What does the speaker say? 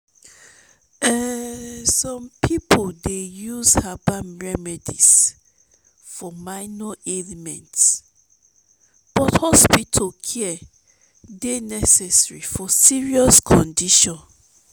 um some people dey use herbal remedies for minor ailments but hospital care dey necessary for serious conditions.